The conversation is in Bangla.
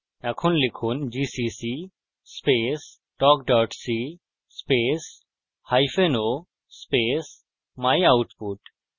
এখন লিখুন gcc space talk c space hyphen o space myoutput